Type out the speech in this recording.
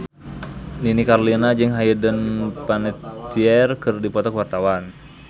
Nini Carlina jeung Hayden Panettiere keur dipoto ku wartawan